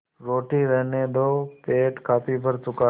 रोटी रहने दो पेट काफी भर चुका है